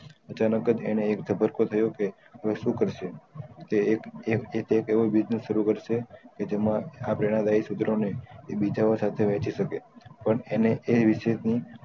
અચાનક એને એક જભ્ર્કોશ આયો કે હવે શું કરશું એ એક એક એવો business શરુ કરશે કે જેમાં આ પેલા લાયી સુત્રો ને એ બીજા ઓં સાથે વેચી સકે પણ એને એક વિષય નું